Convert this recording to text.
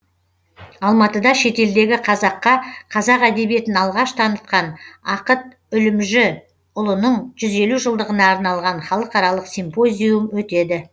алматыда шетелдегі қазаққа қазақ әдебиетін алғаш танытқан ақыт үлімжіұлының жүз елу жылдығына арналған халықаралық симпозиум өтеді